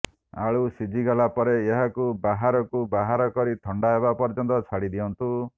ଆଳୁ ସିଝିଗଲା ପରେ ଏହାକୁ ବାହାରକୁ ବାହାର କରି ଥଣ୍ଡା ହେବା ପର୍ଯ୍ୟନ୍ତ ଛାଡ଼ି ଦିଅନ୍ତୁ